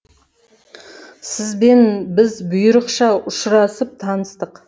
сіз бен біз бұйрықша ұшырасып таныстық